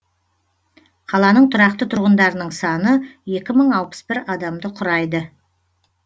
қаланың тұрақты тұрғындарының саны екі мың алпыс бір адамды құрайды